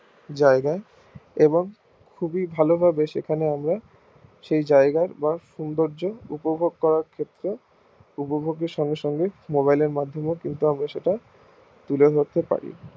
জায়গায় এবং খুবই ভালো ভাবে সেখানে আমরা সেই জায়গায় যাওয়ার সৌন্দর্য উপভোগ করার ক্ষেত্রে উপভোগের সঙ্গে সঙ্গে mobile এর মাধ্যমে সেটা তুলে রাখতে পারি